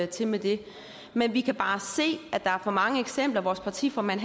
til med dem men vi kan bare se at der er for mange eksempler vores partiformand